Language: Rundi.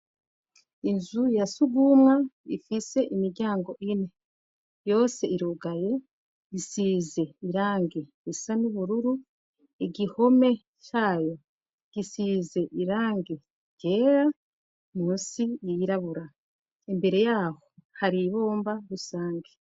Inzu ya sugumwa ifise imiryango ine. Yose irugaye, isize irangi risa n'ubururu, igihome cayo gisize irangi ryera, munsi yirabura. Imbere yaho hari ibomba rusangi.